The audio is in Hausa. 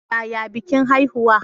Yaya bikin haihuwa?